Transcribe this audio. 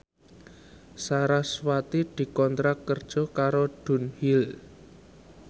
sarasvati dikontrak kerja karo Dunhill